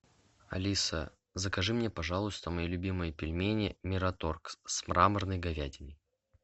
алиса закажи мне пожалуйста мои любимые пельмени мираторг с мраморной говядиной